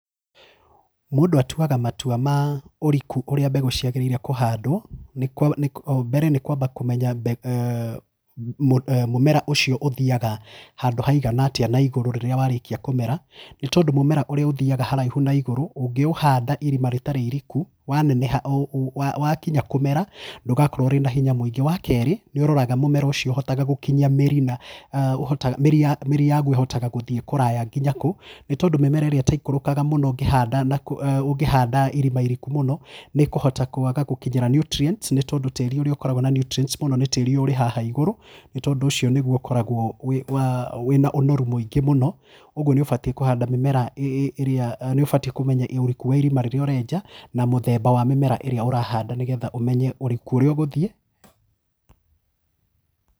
Mũndũ atuaga matua ma ũriku ũrĩa mbegũ ciagĩrĩrwo kũhandambere nĩ kwamba kũmenya mũmera ũcio ũthiaga handũ haigana atĩa na igũrũ rĩrĩa warĩkia kũmera, nĩtondu rĩrĩa mũmera ũthiaga haraihu nũigũrũ ũngĩũhanda irima itarĩ iriku waneneha wakinya kũmera ndũgakorwo wĩna hinya mwingĩ. Wakerĩ nĩũroraga mĩmera ũcio ũhotaga gũkinyia mĩri mĩri yaku ĩhotaga gũthiĩ kũraya nginya kũ nĩtondũ mĩri ĩrĩa ĩtekũrũkaga mũno ũtakĩhanda ũngĩhanda irima iriku mũno nĩkũhota kwaga gũkĩnyĩrwa nĩ [csnutrients nĩtondũ tĩri ũrĩa ũkoragwo na nutrients mũno nĩ tĩri ũrĩa haha igũrũ nĩ tondũ ũcio ũkoragwo wĩnĩ ũnoru mwĩngĩ mũno ũguo nĩũkũbatiĩ kũhanda mĩmera ĩrĩa nĩũbatiĩ kũmenya nĩũrĩkũ wa irima rĩrĩa ũrenja na mũthemba wa mĩmera ĩrĩa ũrahanda nĩgetha ũriku worĩa ũgũthiĩ.